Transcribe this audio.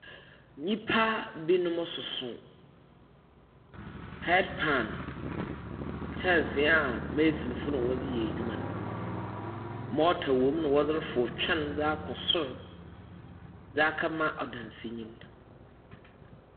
Nnipa binom soso heardpan; kyɛnsee a mesinfo na wɔdze yɛ adwuma no. mɔɔta wo mu nadze refow kan dza kama ɔdansinyi no.